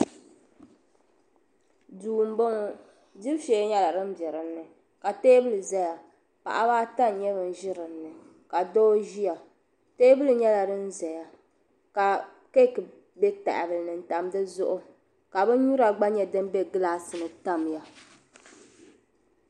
Duu m bo ŋɔ dibu shee nyela din biɛ din ni ka teebuli ʒeya paɣabaata n nye ban ʒi di zuɣu ka doo ʒiya teebuli nyela din zaya ka keki biɛ tahabili ni n tam di zuɣu ka binnyura gba biɛ gilaasini n tamya.